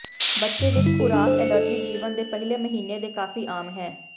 ਬੱਚੇ ਵਿਚ ਖੁਰਾਕ ਐਲਰਜੀ ਜੀਵਨ ਦੇ ਪਹਿਲੇ ਮਹੀਨੇ ਦੇ ਕਾਫ਼ੀ ਆਮ ਹੈ